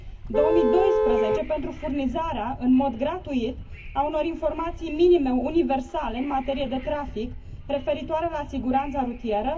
2012 pentru furnizarea în mod gratuit a unor informații minime universale în materie de trafic referitoare la siguranța rutieră